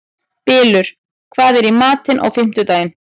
Bylur, hvað er í matinn á fimmtudaginn?